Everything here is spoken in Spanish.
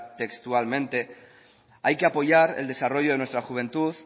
textualmente hay que apoyar el desarrollo de nuestra juventud